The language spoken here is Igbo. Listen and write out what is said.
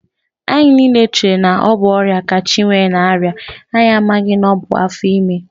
Anyị niile chere na ọ bụ ọrịa ka Chinwe na-arịa, anyị amaghị na ọ bụ afọ ime